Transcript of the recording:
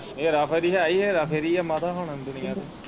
ਹੇਰਾ ਫੇਰੀ ਹੈ ਈ ਹੇਰਾ ਫੇਰੀ ਆ ਮਾਤਾ ਹੁਣ ਦੁਨੀਆ ਤੇ।